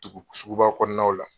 Tugu suguba kɔnɔnaw la.